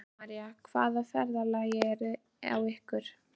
Helga María: Og hvaða ferðalag er á ykkur?